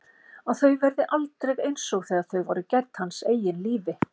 Að þau verði aldrei einsog þegar þau voru gædd hans eigin lífi.